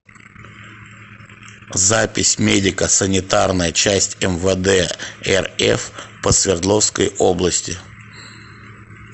запись медико санитарная часть мвд рф по свердловской области